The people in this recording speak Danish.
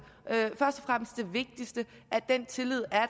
vigtigste at den tillid er